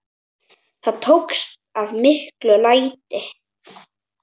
Það tókst að miklu leyti.